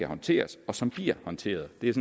håndteres og som bliver håndteret det er